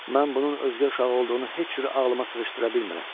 Mən bunun özgə uşağı olduğunu heç cür ağlıma sığışdıra bilmirəm.